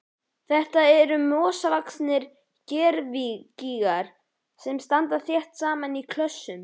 Þetta eru mosavaxnir gervigígar sem standa þétt saman í klösum.